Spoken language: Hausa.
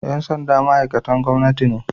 Ƴan sanda ma'aiktan gwamnati ne